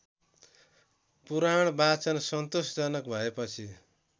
पुराणवाचन सन्तोषजनक भएपछि